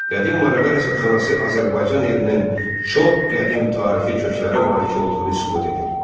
Qədim Marağa rəsədxanası Azərbaycan elminin çox qədim tarixi köklərə malik olduğunu isbat edir.